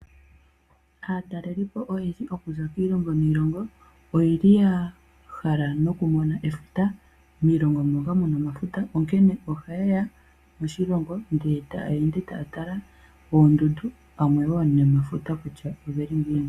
Aatalelipo oyendji okuza kiilongo niilongo oye li ya hala nokumona efuta, miilongo moka muna omafuta. Onkene ohaye ya moshilongo ndele taya ende taya tala poondundu ya mone wo nomafuta kutya ogeli ngiini.